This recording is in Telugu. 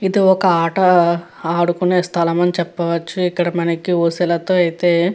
ఇది ఒక ఆట ఆడుకునే స్థలం అని చెప్పవచ్చు. ఇక్కడ మనకు ఊసులు అయితే --